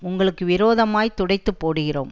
உங்களுக்கு விரோதமாய்த் துடைத்துப்போடுகிறோம்